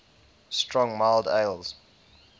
strong mild ales